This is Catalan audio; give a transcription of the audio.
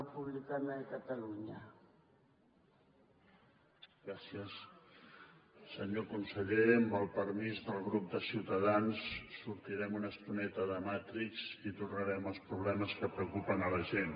senyor conseller amb el permís del grup de ciutadans sortirem una estoneta de matrix i tornarem als problemes que preocupen la gent